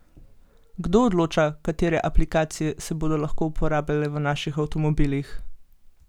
Kdo odloča, katere aplikacije se bodo lahko uporabljale v naših avtomobilih?